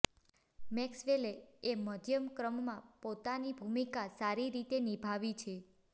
Maxwell એ મધ્યમક્રમમાં પોતાની ભુમિકા સારી રીતે નિભાવી છે